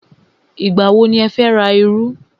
Ìgbà wọ ni ẹ fẹ́ ra iru?